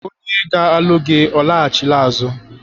Onye ga-alụ gi ọ laghachila azụ?